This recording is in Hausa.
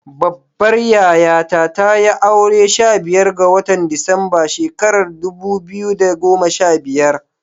Babbar yayata tayi aure a sha biyar ga watan Disamba shekarar dubu biyu da goma sha biyar.